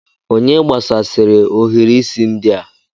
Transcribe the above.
Onye gbasasịrị ohiri isi ndị a?